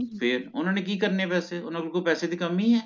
ਫੇਰ ਓਹਨਾ ਨੇ ਕਿ ਕਰਨੇ ਆ ਪੈਸੇ ਓਹਨਾ ਕੋਲ ਪੈਸੇ ਦੀ ਕਮੀ ਏ